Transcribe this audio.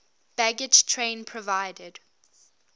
baggage train provided